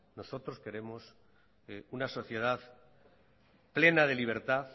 nosotros queremos una sociedad plena de libertad